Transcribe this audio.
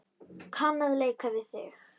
Kann að leika við þig.